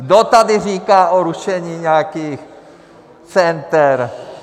Kdo tady říká o rušení nějakých center?